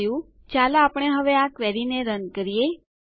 તે થયું ચાલો આપણે હવે આ ક્વેરીને રન કરીએ